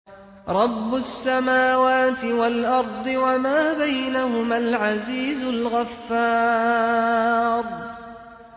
رَبُّ السَّمَاوَاتِ وَالْأَرْضِ وَمَا بَيْنَهُمَا الْعَزِيزُ الْغَفَّارُ